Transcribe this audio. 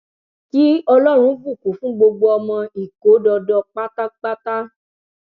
kí ọlọrun bùkún fún gbogbo ọmọ ìkódọdọ pátápátá